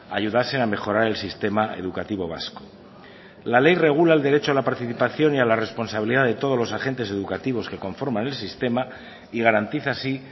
ayudasen a mejorar el sistema educativo vasco la ley regula el derecho a la participación y a la responsabilidad de todos los agentes educativos que conforman el sistema y garantiza así